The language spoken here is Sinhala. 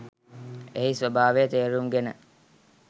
එහි ස්වභාවය තේරුම් ගෙන